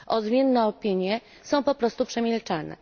Odmienne opinie są po prostu przemilczane.